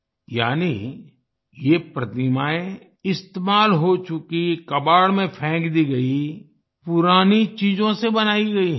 यानि ये प्रतिमाएं इस्तेमाल हो चुकी कबाड़ में फेक दी गयी पुरानी चीजों से बनाई गई हैं